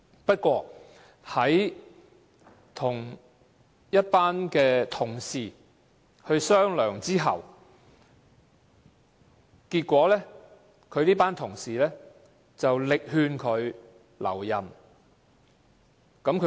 不過，他跟一群同事商量，結果這群同事力勸他留任。